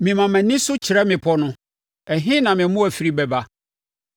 Mema mʼani so kyerɛ mmepɔ no, ɛhe na me mmoa firi bɛba?